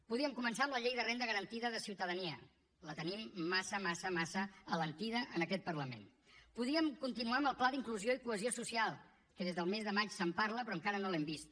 podríem començar amb la llei de renda garantida de ciutadania la tenim massa massa massa alentida en aquest parlament podríem continuar amb el pla d’inclusió i cohesió social que des del mes de maig se’n parla però encara no l’hem vist